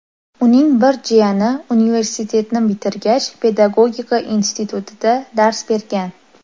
Uning bir jiyani universitetni bitirgach, Pedagogika institutida dars bergan.